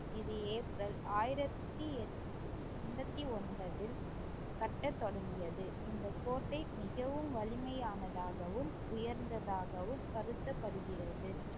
இது ஏப்ரல் ஆயிரத்தி எட்~ எண்பத்தி ஒன்பதில் கட்டத் தொடங்கியது இந்தக் கோட்டை மிகவும் வலிமையானதாகவும் உயர்ந்ததாகவும் கருதப்படுகிறது